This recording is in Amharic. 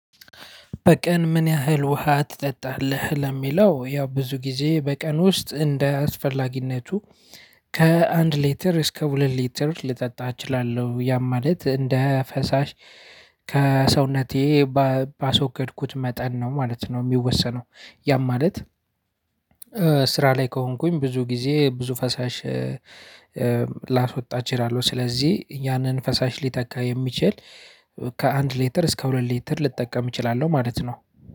በቀን ምን ያህል ውሃ ትጠጣለህ? ለሚለው ያው ብዙ ጊዜ በቀን ውስጥ እንደ አስፈላጊነቱ ከአንድ ሊትር እስከ ሁለት ሊትር ልጠጣ እችላለሁ። ያም ማለት እንደ ፈሳሽ ከሰውነቴ ባስወገድኩት መጠን ነው ማለት ነው የሚወሰነው። ያም ማለት ስራ ላይ ከሆንኩኝ ብዙ ጊዜ ብዙ ፈሳሽ ላስወጣ እችላለሁ። ስለዚህ ያንን ፈሳሽ ሊተካ የሚችል ከ አንድ ሊትር እስከ ሁለት ሊትር ልጠቀም እችላለሁ። ማለት ነው